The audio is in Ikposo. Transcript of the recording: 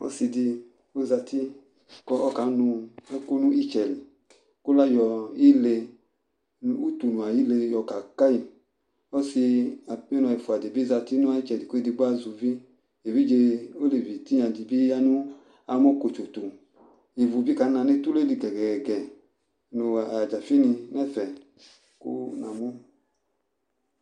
Ɔsɩ dɩ ɔzati kʋ ɔkanʋ ɛkʋ nʋ ɩtsɛ li kʋ layɔ ile, utunu ayʋ ile yɔkaka yɩ Ɔsɩ, apenɔ ɛfʋa dɩ bɩ zati nʋ ɩtsɛdɩ kʋ edigbo azɛ uvi Evidze olevi tɩnya dɩ bɩ ya nʋ amɔkotso tʋ Ivu bɩ kana nʋ etule li gɛ-gɛ-gɛ nʋ adzafɩnɩ nʋ ɛfɛ kʋ namʋ